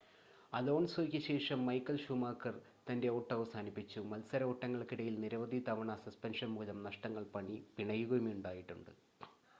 അലോൺസോയ്ക്ക് ശേഷം Michael Schumacher തൻ്റെ ഓട്ടം അവസാനിപ്പിച്ചു മത്സരഓട്ടങ്ങൾക്കിടയിൽ നിരവധി തവണ സസ്പെൻഷൻ മൂലം നഷ്ടങ്ങൾ പിണയുകയുമുണ്ടായിട്ടുണ്ട്